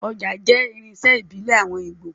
Ọjà jẹ́ irinṣẹ́ ìbílẹ̀ àwọn Ígbò